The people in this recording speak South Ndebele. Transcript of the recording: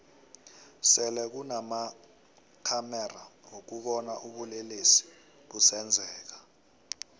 sele kunama khamexa wokubona ubulelesi busenzeka